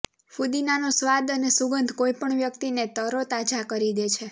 ફુદીનાનો સ્વાદ અને સુગંધ કોઈપણ વ્યક્તિને તરોતાજા કરી દે છે